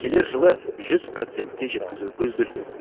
келер жылы жүз процентке жеткізу көзделген